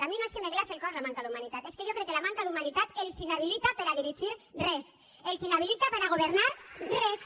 a mi no és que me glace el cor la manca d’humanitat és que jo crec que la manca d’humanitat els inhabilita per a dirigir res els inhabilita per a governar res